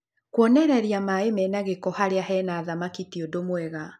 Kwonereria maĩ mena gĩko harĩa he na thamaki ti ũndũ mwega.